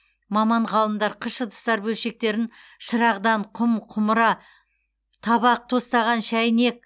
маман ғалымдар қыш ыдыстар бөлшектерін шырағдан құм құмыра табақ тостаған шәйнек